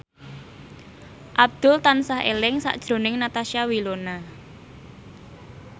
Abdul tansah eling sakjroning Natasha Wilona